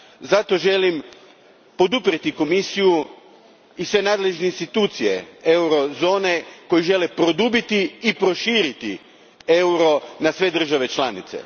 Zato želim poduprijeti Komisiju i sve nadležne institucije eurozone koje žele produbiti i proširiti euro na sve države članice.